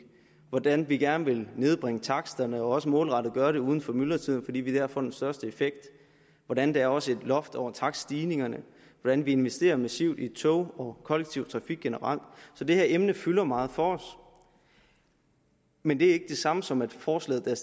hvordan vi gerne vil nedbringe taksterne og også målrettet gøre det uden for myldretiden fordi vi dér får den største effekt hvordan der også er et loft over takststigningerne hvordan vi investerer massivt i tog og kollektiv trafik generelt så det her emne fylder meget for os men det er ikke det samme som at det forslag der